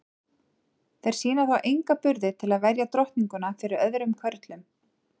Þeir sýna þó enga burði til að verja drottninguna fyrir öðrum körlum.